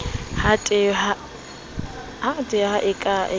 ha tehpa e ka rekiswang